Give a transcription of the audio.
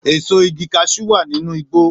Èso igi kaṣú wà nínú igbó